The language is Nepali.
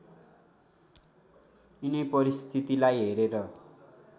यिनै परिस्थितिलाई हेरेर